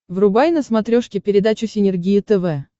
врубай на смотрешке передачу синергия тв